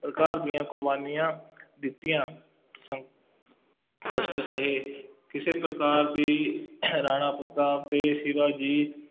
ਪ੍ਰਕਾਰ ਦੀਆਂ ਕੁਰਬਾਨੀਆਂ ਦਿੱਤੀਆਂ ਸੰ ਕਸ਼ਟ ਸਹੇ, ਕਿਸੇ ਪ੍ਰਕਾਰ ਦੀ ਰਾਣਾ ਪ੍ਰਤਾਪ ਅਤੇ ਸ਼ਿਵਾਜੀ